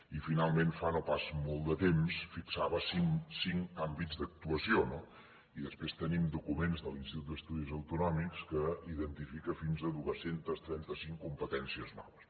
i finalment fa no pas molt de temps fixava cinc àmbits d’actuació no i després tenim documents de l’institut d’estudis autonòmics que identifica fins a dos cents i trenta cinc competències noves